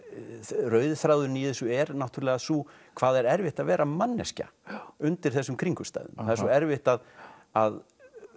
rauði þráðurinn í þessu er náttúrulega sá hvað það er erfitt að vera manneskja undir þessum kringumstæðum það er svo erfitt að að